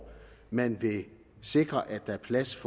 man vil sikre at der er plads